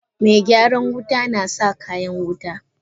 Megyaran wuta nasa kayan wuta.